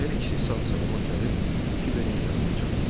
Hər ikisi sağ-salamat gəlib Kiverin yanına çatdı.